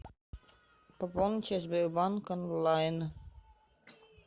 пополнить через сбербанк онлайн